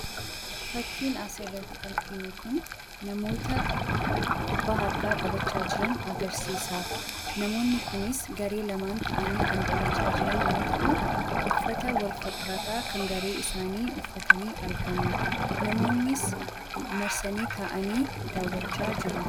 Fakkiin asirratti arginu kun namoota kubbaa harkaa taphachaa jiran agarsiisa. Namoonni kunis garee lamaan ta'anii taphachaa jiran yoo ta'u, uffata walfakkaataa kan garee isaanii uffatanii argamu namoonnis marsanii taa'anii daawwachaa jiru.